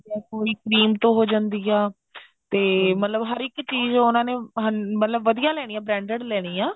ਕੋਈ cream ਤੋਂ ਹੋ ਜਾਂਦੀ ਐ ਤੇ ਮਤਲਬ ਹਰ ਇੱਕ ਚੀਜ ਉਹਨਾ ਨੇ ਮਤਲਬ ਵਧੀਆਂ ਲੈਣੀ ਐ branded ਲੈਣੀ ਐ